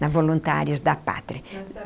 Na Voluntários da Pátria.